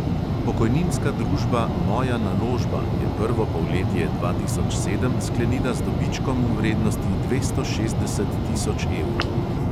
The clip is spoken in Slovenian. Pokojninska družba moja naložba je prvo polletje dva tisoč sedem sklenila z dobičkom v vrednosti dvesto šestdeset tisoč evrov.